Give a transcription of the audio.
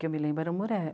Que eu me lembro eram